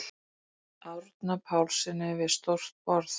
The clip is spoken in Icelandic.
Árna Pálssyni við stórt borð.